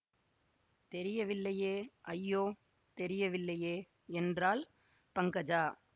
தெரியவில்லையே ஐயோ தெரியவில்லையே என்றாள் பங்கஜா